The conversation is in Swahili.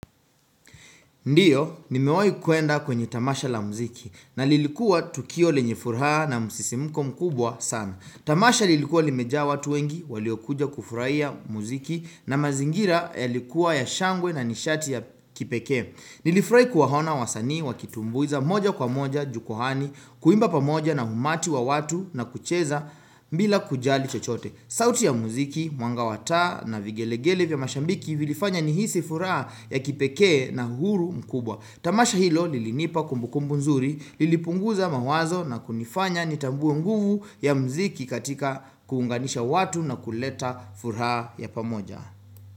Ndiyo, nimewai kuenda kwenye tamasha la muziki na lilikuwa tukio lenye furaha na musisimuko mkubwa sana. Tamasha lilikuwa limejaa watu wengi, waliokuja kufurahia ya muziki na mazingira ya likuwa ya shangwe na nishati ya kipeke. Nilifurai kuwaona wasanii wakitumbuiza moja kwa moja, jukuhani, kuimba pamoja na umati wa watu na kucheza bila kujali chochote. Sauti ya muziki, mwanga wa taa na vigelegele vya mashabiki vilifanya nihisi furaha ya kipekee na huru mkubwa. Tamasha hilo lilinipa kumbukumbu nzuri, lilipunguza mawazo na kunifanya nitambue nguvu ya muziki katika kuunganisha watu na kuleta furaha ya pamoja.